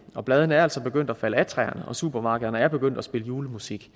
og bladene er altså begyndt af falde af træerne og supermarkederne er begyndt at spille i julemusik